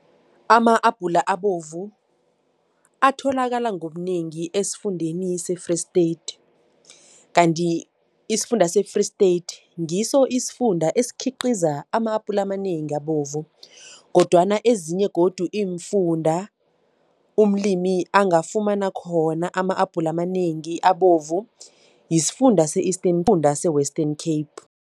Ama-abhula abovu atholakala ngobunengi esifundeni se-Free State, kanti isifunda se-Free State ngiso isifunda esikhiqiza ama-apula amanengi abovu kodwana ezinye godu iimfunda umlimi angafumana khona ama-abhula amanengi abovu, yisifunda yisifunda se-Western Cape.